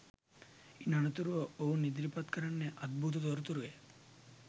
ඉන් අනතුරුව ඔවුන් ඉදිරිපත් කරන්නේ අද්භූත තොරතුරුය